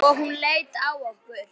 Og hún leit á okkur.